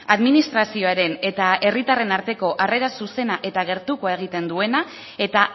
administrazioaren eta herritarren arteko arrera zuzena eta gertukoa egiten duena eta